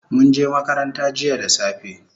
Munje makaranta jiya da safe